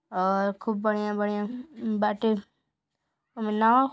और खूब बढ़िया बढिया बाटे ओमे नाव --